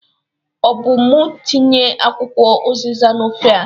Ọ bụ mụ tinye akwụkwọ ụzịza n'ofe a?